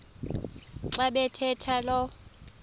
xa bathetha lo